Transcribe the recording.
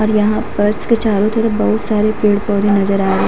और यहां पर इसके चारो तरफ बहोत सारे पेड़ पौधे नजर आ रहे है।